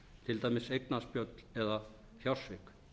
til dæmis eignaspjöll eða fjársvik